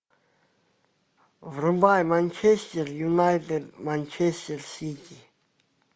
врубай манчестер юнайтед манчестер сити